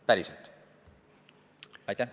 Päriselt!